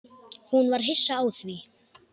Hún var hissa á því.